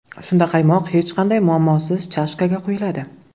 Shunda qaymoq hech qanday muammosiz chashkaga quyiladi.